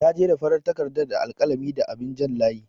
Ta jera farar takardar da alƙalami da abin jan layi.